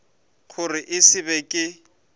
gore e se be ke